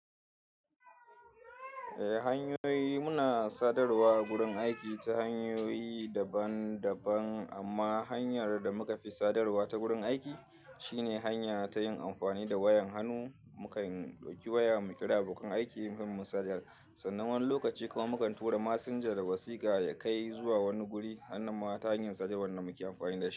Eh hanyoyi muna sadarwa a gurin aiki ta hanyoyi daban daban amma hanyar da muka fi sadarwa ta gurin aiki shine hanya ta yin amfani da wayan hannu. Muka ɗauki wayan mu kira abokan aiki in mun sada sannan wani lokaci kawai mukan tura messenger da wasika ya kai zuwa wani guri. Hannan ma ta hanyar sadarwar da muke amfani da shi.